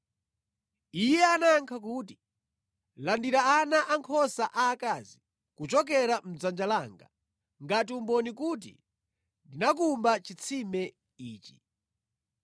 Iye anayankha kuti, “Landirani ana ankhosa aakazi kuchokera mʼdzanja langa ngati umboni kuti ndinakumba chitsime ichi.”